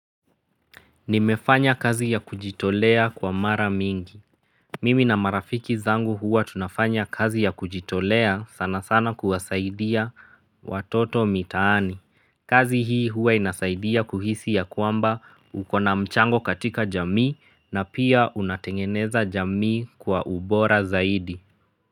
Nimefanya kazi ya kujitolea kwa mara mingi. Mimi na marafiki zangu huwa tunafanya kazi ya kujitolea sana sana kuwasaidia watoto mitaani. Kazi hii huwa inasaidia kuhisi ya kwamba ukona mchango katika jamii na pia unatengeneza jamii kwa ubora zaidi.